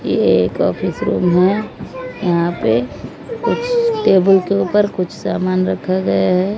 ये एक office room है यहां पे कुछ टेबल के ऊपर कुछ सामान रखा गया है।